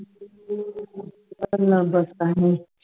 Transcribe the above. ਗੱਲਾਂ ਬਾਤਾਂ ਹੂੰ